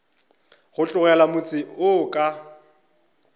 go tlogela motse wo ka